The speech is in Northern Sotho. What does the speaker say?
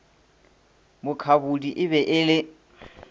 mukhabudi e be e le